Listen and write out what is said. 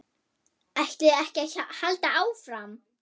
ÆTLIÐI EKKI AÐ HALDA ÁFRAM?